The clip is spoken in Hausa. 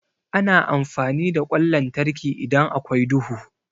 Ana amfani da ƙwan lantarki idan akwai duhu.